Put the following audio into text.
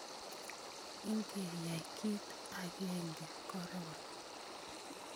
Ikeyai kit agenge koron.